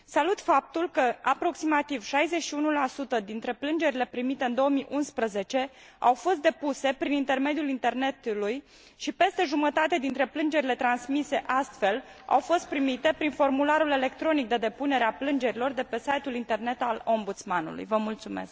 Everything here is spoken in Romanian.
Salut faptul că aproximativ 61 dintre plângerile primite în 2011 au fost depuse prin intermediul internetului și peste jumătate dintre plângerile transmise astfel au fost primite prin formularul electronic de depunere a plângerilor de pe site ul internet al Ombudsman ului.